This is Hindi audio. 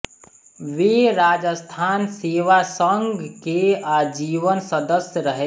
वे राजस्थान सेवा संघ के आजीवन सदस्य रहे